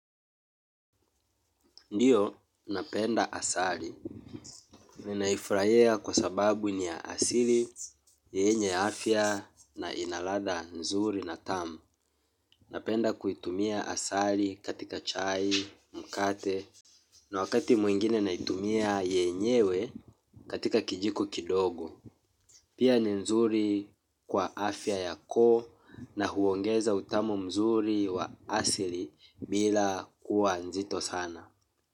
Ndiyo, napenda asali. Ninaifurahia kwa sababu ni ya asili, yenye afya na ina ladha nzuri na tamu. Napenda kuitumia asali katika chai, mkate. Na wakati mwingine na itumia yenyewe katika kijiko kidogo. Pia ni nzuri kwa afya yako na huongeza utamu mzuri wa asili bila kuwa nzito sana.